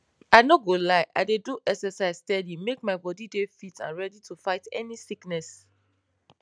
i no go lie i dey do exercise steady make my bodi dey fit and ready to fight any sickness